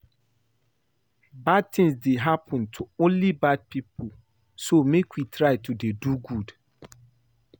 Bad things dey happen to only bad people so make we try to dey do good